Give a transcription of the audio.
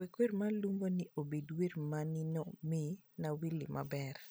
wek wer ma lubo-ni obed wer me nino me nywalli maber